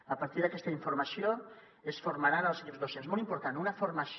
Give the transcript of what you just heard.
a partir d’aquesta informació es formaran els equips docents molt important una formació